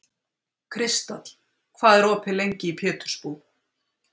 Kristall, hvað er opið lengi í Pétursbúð?